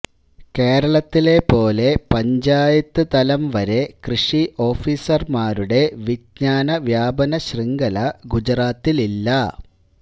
കേരളത്തിലെ പോലെ പഞ്ചായത്തുതലം വരെ കൃഷി ഓഫീസര്മാരുടെ വിഞ്ജാന വ്യാപന ശൃംഖല ഗുജറാത്തിലില്ല